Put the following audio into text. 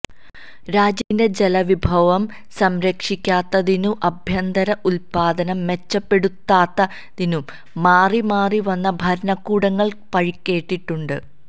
രാജ്യത്തിന്റെ ജലവിഭവം സംരക്ഷിക്കാത്തതിനും ആഭ്യന്തര ഉത്പാദനം മെച്ചപ്പെടുത്താത്തതിനും മാറിമാറിവന്ന ഭരണകൂടങ്ങൾ പഴികേട്ടിട്ടുണ്ട്